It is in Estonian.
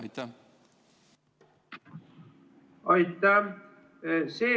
Aitäh!